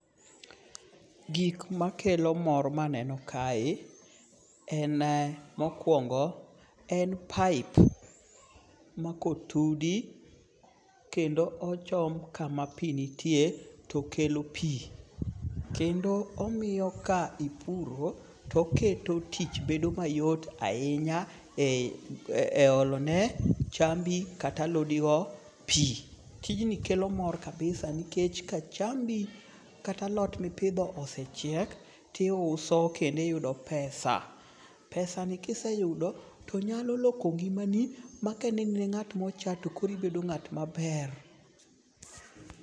Gik ma kelo mor ma aneno kae, en mokuongo' en pipe ma kotudi, kendo ochom kama pi nitie to kelo pi, kendo omiyo ka ipuro to oketo tich bedo mayot ahinya e olone chambi kata alodigo pi, tijni kelo mor kabisa nikech ka chanbi kata alot mipitho osechiek to iuso kendo iyudo pesa, pesani kiseyudo to nyalo loko ngi'mani ma keni in nga't ma ocha to koro ibedo nga't maber.